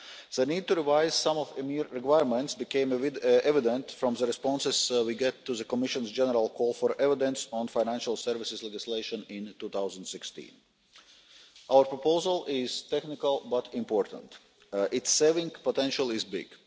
The need to revise some of EMIR's requirements became evident from the responses we got to the Commission's general call for evidence on financial services legislation in 2016. Our proposal is technical but important. Its savings potential is big.